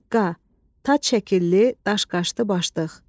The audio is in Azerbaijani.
Cıqqa, tac şəkilli daşqaşlı başdıq.